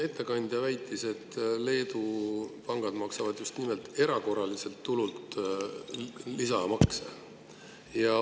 Ettekandja väitis, et Leedu pangad maksavad just nimelt erakorraliselt tulult lisamakse.